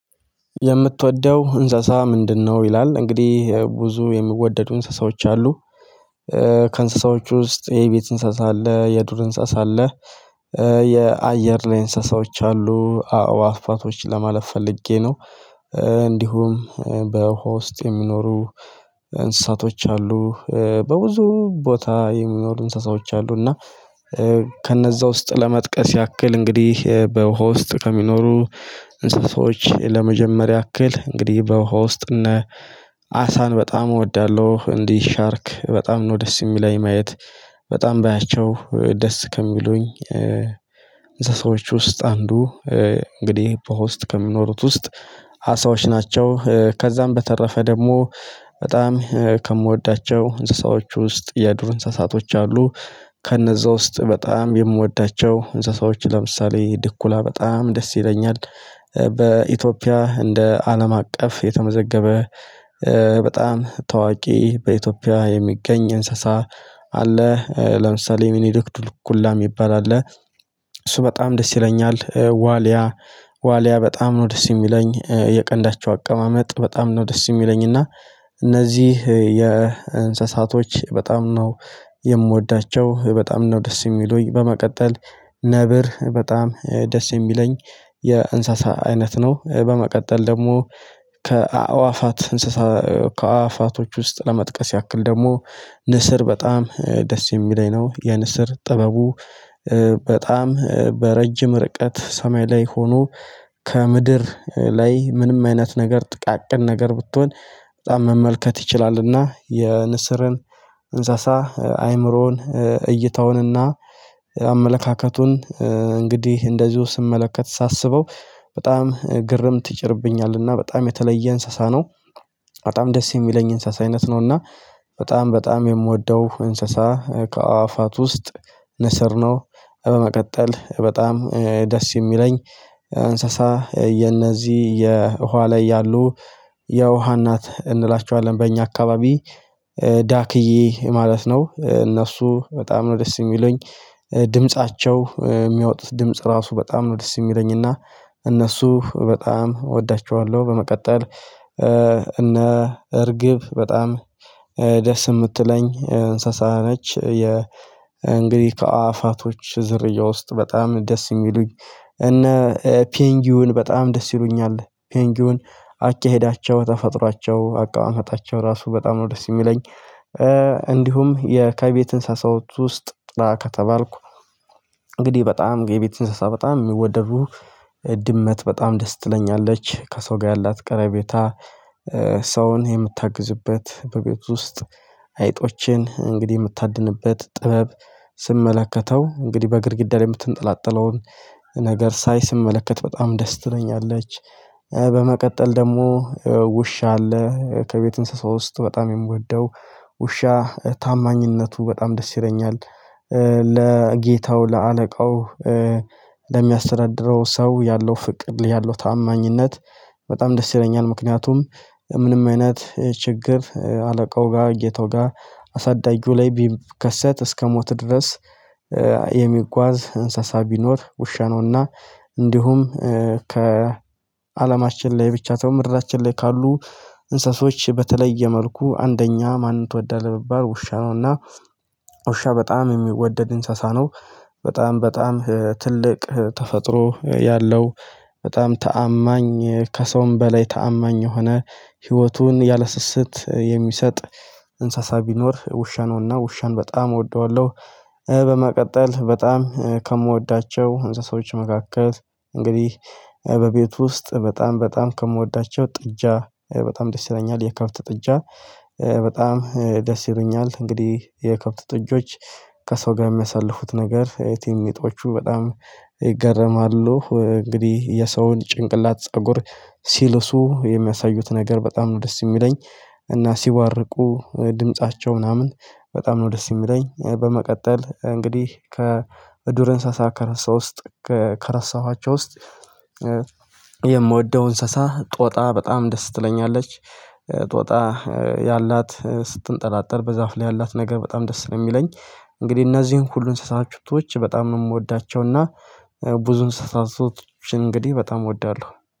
የምትወደው እንሰሳ ምንድነው? ይላል እንግዲህ ብዙ የሚወደዱ እንስሳዎች አሉ። ከእንስሳዎች ውስጥ የቤት እንስሳ አለ የዱር እንስሳ አለ የአየር ላይ እንስሳዎች አሉ አእዋፋቶች ለማለት ፈልጌ ነው። እንዲሁም በውሃ ውስጥ የሚኖሩ እንስሳቶች አሉ። በብዙ ቦታ የሚኖሩ እንስሳዎች አሉ። እና ከነዛ ውስጥ ለመጥቀስ ያክል እንግዲህ በውሃ ውስጥ ከሚኖሩ እንስሳዎች ለመጀመር ያክል እንግዲህ በውሃ ውስጥ እነ አሳን በጣም እወዳለሁ። እንዲህ ሻርክ በጣም ነው ደስ የሚለኝ ማየት። በጣም ባያቸው ደስ ከሚሉኝ እንሰሳዎች ውስጥ አንዱ እንግዲህ በውሃ ውስጥ ከሚኖሩት ውስጥ አሳዎች ናቸው። ከዛም በተረፈ ደግሞ በጣም ከምወዳቸው እንስሳዎች ውስጥ የዱር እንስሳቶች አሉ። ከነዛ ውስጥ በጣም የምወዳቸው እንስሳዎች ለምሳሌ ድኩላ በጣም ደስ ይለኛል። በኢትዮጵያ እንደ አለም አቀፍ የተመዘገበ በጣም ታዋቂ በኢትዮጵያ የሚገኝ እንስሳ አለ ለምሳሌ ሚኒድክ ድኩላ የሚባል አለ። እሱ በጣም ደስ ይለኛል ዋልያ ዋሊያ በጣም ነው ደስ የሚለኝ የቀንዳቸው አቀማመጥ በጣም ነው ደስ የሚለኝ። እና እነዚህ የእንስሳቶች በጣም ነው የምወዳቸው በጣም ነው ደስ የሚሉኝ። በመቀጠል ነብር በጣም ደስ የሚለኝ የእንሰሳ አይነት ነው። በመቀጠል ደግሞ ከአእዋፋት እንስሳ ከአዋፋቶች ውስጥ ለመጥቀስ ያክል ደግሞ ንስር በጣም ደስ የሚለኝ ነው። የንስር ጥበቡ በጣም በረጅም ርቀት ሰማይ ላይ ሆኖ ከምድር ላይ ምንም አይነት ነገር ጥቃቅን ነገር ብትሆን በጣም መመልከት ይችላልና። የንስርን እንሳሳ አይምሮን እይታውንና አመለካከቱን እንግዲህ እንደዚሁ ስመለከት ሳስበው በጣም ግርም ይጭርብኛልና በጣም የተለየ እንስሳ ነው። በጣም ደስ የሚለኝ የእንስሳ አይነት ነው። እና በጣም በጣም የምወደው እንስሳ ከአእዋፋት ውስጥ ንስር ነው። በመቀጠል በጣም ደስ የሚለኝ እንስሳ የነዚህ የውሃ ላይ ያሉ የውሃ እናት እንላቸዋለን። በእኛ አካባቢ ዳክዬ ማለት ነው። እነሱ በጣም ነው ደስ የሚሉኝ ድምፃቸው የሚያወጡት ድምጽ ራሱ በጣም ነው ደስ የሚለኝና እነሱ በጣም እወዳቸዋለሁ። በመቀጠል እና እርግብ በጣም ደስ የምትለኝ እንሰሳ ነች። የ እንግዲህ ከአእዋፋቶች ዝርያ ውስጥ በጣም ደስ የሚሉኝ እነ ፔንጊውን በጣም ደስ ይሉኛል። ፔንጊውን አካሄዳቸው ተፈጥሯቸው አቀማመጣቸው ራሱ በጣም ነው ደስ የሚለኝ። እንዲሁም የ ከቤት እንስሳዎች ውስጥ ጥራ ከተባልኩ እንግዲህ በጣም የቤት እንስሳ በጣም የሚወደዱ ድመት በጣም ደስ ትለኛለች። ከሰው ጋር ያላት ቀረቤታ ሰውን የምታግዝበት በቤቱ ውስጥ አይጦቼን እንግዲህ የምታድንበት ጥበብ ስመለከተው እንግዲህ በግድግዳ ላይ የምትንጠላጠለውን ነገር ሳይ ስመለከት በጣም ደስ ትለኛለች። በመቀጠል ደግሞ ውሻ አለ ከቤት እንስሳ ውስጥ በጣም የምወደው ውሻ ታማኝነቱ በጣም ደስ ይለኛል። ለጌታው ለአለቃው ለሚያስተዳድረው ሰው ያለው ፍቅር ያለው ታማኝነት በጣም ደስ ይለኛል። ምክንያቱም ምንም አይነት ችግር አለቃው ጋር ጌታው ጋር አሳዳጊው ላይ ቢከሰት እስከ ሞት ድረስ የሚጓዝ እንስሳ ቢኖር ውሻ ነውና። እንዲሁም ከአለማችን ላይ ብቻ ሳይሆን ምድራችን ላይ ካሉ እንስሳዎች በተለየ መልኩ አንደኛ ማንን ትወዳለህ ብባል ውሻ ነው እና። ውሻ በጣም የሚወደድ እንሰሳ ነው። በጣም በጣም ትልቅ ተፈጥሮ ያለው በጣም ታማኝ ከሰውም በላይ ታማኝ የሆነ ህይወቱን ያለስስት የሚሰጥ እንሰሳ ቢኖር ውሻ ነውና ውሻን በጣም እወደዋለሁ። በመቀጠል በጣም ከምወዳቸው እንሰሳዎች መካከል እንግዲህ በቤቱ ውስጥ በጣም በጣም ከምወዳቸው ጥጃ በጣም ደስ ይለኛል። የከብት ጥጃ በጣም ደስ ይሉኛል እንግዲህ የከብት ጥጆች ከሰው ጋር የሚያሳልፉት ነገር ቲኒንጦቹ በጣም ይገረማሉ እንግዲህ የሰውን ጭንቅላት ፀጉር ሲልሱ የሚያሳዩት ነገር በጣም ነው ደስ የሚለኝ። እና ሲቧርቁ ድምፃቸው ምናምን በጣም ነው ደስ የሚለኝ። በመቀጠል እንግዲህ ከዱር እንሳሳ ከረሳ ውስጥ ከረሳኋቸው ውስጥ የምወደው እንስሳ ጦጣ በጣም ደስ ትለኛለች። ጦጣ ያላት ስትንጠላጠል በዛፍ ላይ ያላት ነገር በጣም ደስ ነው የሚለኝ። እንግዲህ እነዚህን ሁሉ እንስሳቶች በጣም ነው የምወዳቸው እና ብዙ እንስሳቶች እንግዲህ በጣም እወዳለሁ